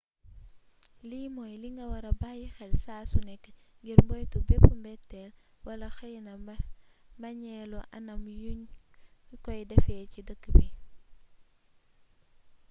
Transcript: lii mooy li nga wara bayyi xel saa su nekk ngir moytu bépp mbeteel wala xeyna mbañeelu anam yuñ koy defee ci dëkk bi